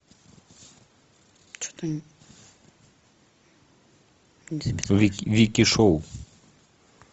вики шоу